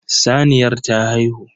Saniyar ta haihu.